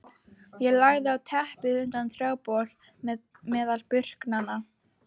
Ég lagðist á teppið undir trjábol meðal burknanna.